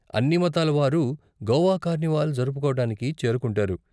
అన్ని మతాల వారూ గోవా కార్నివాల్ జరుపుకోవటానికి చేరుకుంటారు.